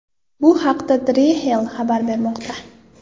Bu haqda Drexel xabar bermoqda .